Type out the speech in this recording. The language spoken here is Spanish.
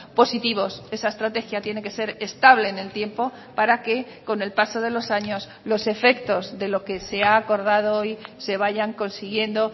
positivos esa estrategia tiene que ser estable en el tiempo para que con el paso de los años los efectos de lo que se ha acordado hoy se vayan consiguiendo